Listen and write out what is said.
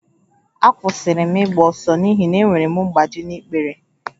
Akwụsịrị m ịgba ọsọ n'ihi na enwere m mgbaji n'ikpere